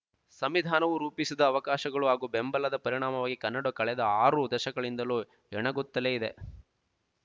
ಸಂವಿಧಾನವು ರೂಪಿಸಿದ ಅವಕಾಶಗಳು ಹಾಗೂ ಬೆಂಬಲದ ಪರಿಣಾಮವಾಗಿ ಕನ್ನಡವು ಕಳೆದ ಆರು ದಶಕಗಳಿಂದಲೂ ಹೆಣಗುತ್ತಲೇ ಇದೆ